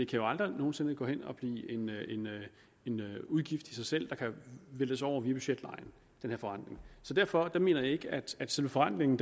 kan aldrig nogen sinde gå hen og blive en udgift i sig selv der kan væltes over via budgetlejen så derfor mener jeg ikke at selve forrentningen